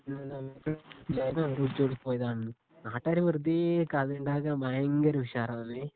ലൈനായിരുന്നു അവര് ഒളിച്ചോടിപ്പോയതാണ്. നാട്ടുകാര് വെറുതേ കഥയുണ്ടാക്കാൻ ഭയങ്കര ഉശാറാന്ന്